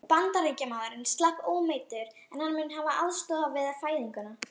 Bandaríkjamaðurinn slapp ómeiddur, en hann mun hafa aðstoðað við fæðinguna.